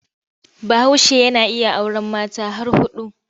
Bahaushe yana iya auren mace har huɗu.